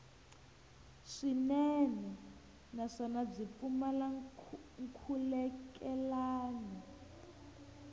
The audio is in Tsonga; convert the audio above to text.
swinene naswona byi pfumala nkhulukelano